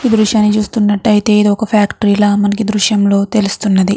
ఈ దృశ్యాన్ని చూస్తునట్టయితే ఇది ఒక ఫ్యాక్టరీ లా మనకి ఈ దృశ్యం లో తెలుస్తున్నది.